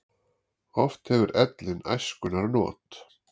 Oft hefur ellin æskunnar not.